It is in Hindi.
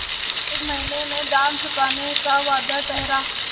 एक महीने में दाम चुकाने का वादा ठहरा